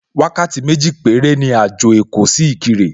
Wákàtí méjì péré ni àjò èkó sí Ìkirè